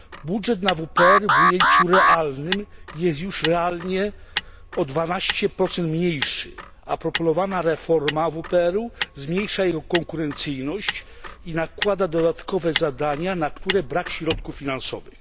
Budżet na WPR w ujęciu realnym jest już realnie o 12 mniejszy, a proponowana reforma WPR zmniejsza jej konkurencyjność i nakłada dodatkowe zadania, na które brak środków finansowych.